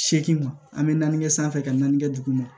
Seegin an bɛ naani kɛ sanfɛ ka naani kɛ duguma